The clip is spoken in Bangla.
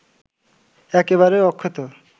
একেবারেই অক্ষত